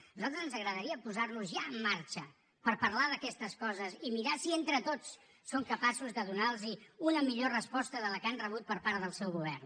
a nosaltres ens agradaria posar nos ja en marxa per parlar d’aquestes coses i mirar si entre tots som capaços de donar los una millor resposta que la que han rebut per part del seu govern